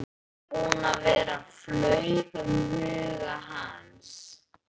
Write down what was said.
Ég er búinn að vera, flaug um huga hans.